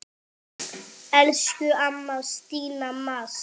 Elsku amma Stína Mass.